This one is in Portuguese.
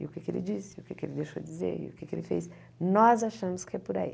E o que ele disse, o que ele deixou dizer, o que ele fez, nós achamos que é por aí.